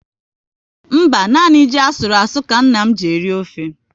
Mba, nanị ji asụru asụ ka nna m ji eri ofe